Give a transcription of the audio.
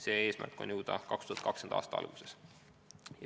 Selleni tahetakse jõuda 2020. aasta alguses.